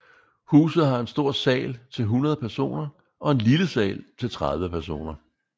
Huset har en stor sal til 100 personer og en lille sal til 30 personer